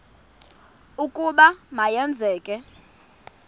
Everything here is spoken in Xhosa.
ukuba ma yenzeke